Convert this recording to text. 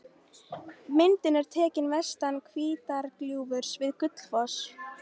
Myndin er tekin vestan Hvítárgljúfurs við Gullfoss.